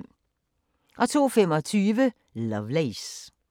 02:25: Lovelace